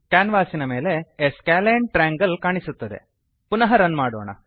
ಕ್ಯಾನ್ವಾಸಿನ ಮೇಲೆ A scalene triangle a scalene triangle ಕಾಣಿಸುತ್ತದೆ